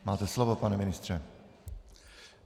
Máte slovo, pane ministře.